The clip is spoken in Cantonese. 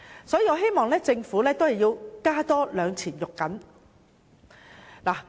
所以，我希望政府真的要再加一把勁。